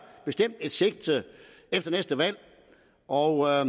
et sigte efter næste valg og